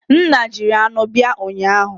Nna jiri anụ bia ụnyahụ?